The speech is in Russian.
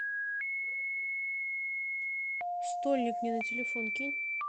стольник мне на телефон кинь